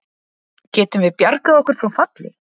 Getum við bjargað okkur frá falli?